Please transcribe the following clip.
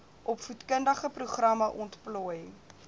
opvoedkundige programme ontplooi